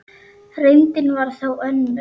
Reyndin var þó önnur.